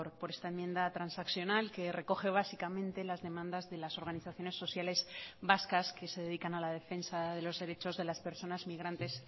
por esta enmienda transaccional que recoge básicamente las demandas de las organizaciones sociales vascas que se dedican a la defensa de los derechos de las personas migrantes